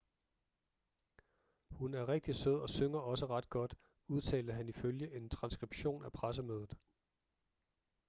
hun er rigtig sød og synger også ret godt udtalte han ifølge en transskription af pressemødet